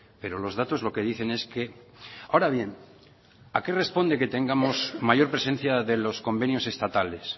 pero los datos lo que dicen es que ahora bien a qué responde que tengamos mayor presencia de los convenios estatales